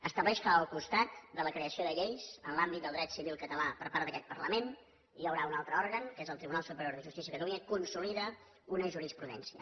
estableix que al costat de la creació de lleis en l’àmbit del dret civil català per part d’aquest parlament hi haurà un altre òrgan que és el tribunal superior de justícia de catalunya que consolida una jurisprudència